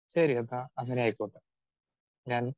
speaker 2 ശരി കേട്ടോ അങ്ങനെ ആയിക്കോട്ടെ ഞാൻ